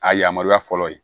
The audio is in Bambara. A yamaruya fɔlɔ ye